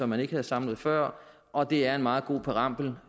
man ikke havde samlet før og det er en meget god præambel